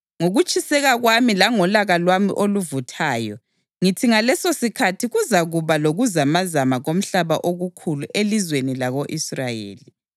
Ngokutshiseka kwami langolaka lwami oluvuthayo ngithi ngalesosikhathi kuzakuba lokuzamazama komhlaba okukhulu elizweni lako-Israyeli.